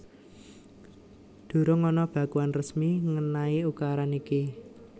Durung ana bakuan resmi ngenaini ukuran iki